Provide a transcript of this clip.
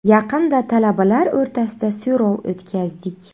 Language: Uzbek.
Yaqinda talabalar o‘rtasida so‘rov o‘tkazdik.